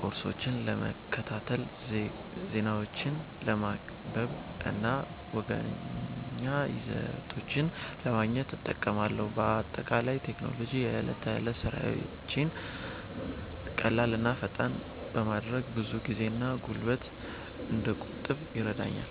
ኮርሶችን ለመከታተል፣ ዜናዎችን ለማንበብ እና መዝናኛ ይዘቶችን ለማየት እጠቀማለሁ። በአጠቃላይ ቴክኖሎጂ የዕለት ተዕለት ሥራዎቼን ቀላል እና ፈጣን በማድረግ ብዙ ጊዜና ጉልበት እንድቆጥብ ይረዳኛል።